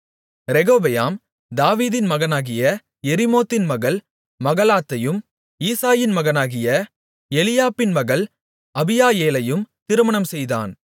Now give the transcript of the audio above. ரெகொபெயாம் தாவீதின் மகனாகிய எரிமோத்தின் மகள் மகலாத்தையும் ஈசாயின் மகனாகிய எலியாபின் மகள் அபியாயேலையும் திருமணம்செய்தான்